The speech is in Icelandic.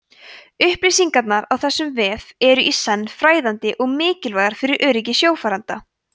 upplýsingarnar á þessum vef eru í senn fræðandi og mikilvægar fyrir öryggi sjófarenda